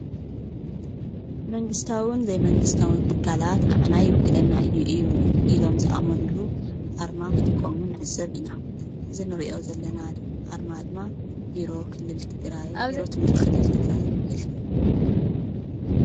መንግስታውን ዘይመንግስታውን ትካላት ንዓና ይውክለና እዩ ኢሎም ዝኣሞኑሉ ኣርማ ኽትቀሙ ንዕዘብ ኢና፡፡ አዚንርእዮ ዘለና ኣርማ ድማ ቢሮ ኽልል ትግራይ ትምህርቲ ክልል ትግራይ ይውክል፡፡